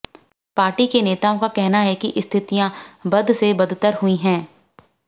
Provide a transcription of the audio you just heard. party के नेताओं का कहना है कि स्थितियां बद से बदतर हुई हैं